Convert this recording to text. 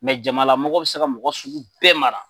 jamala mɔgɔ bɛ se ka mɔgɔ sugu bɛɛ mara.